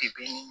Bi bi in